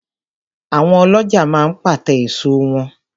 Àwọn ọlọ́ja máa ń pàte èso wọn